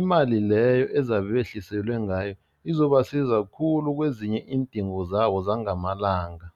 imali leyo ezabe behliselwe ngayo izobasiza khulu kwezinye iindingo zabo zangamalanga.